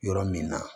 Yɔrɔ min na